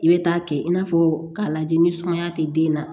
I bɛ taa kɛ i n'a fɔ k'a lajɛ ni sumaya tɛ den na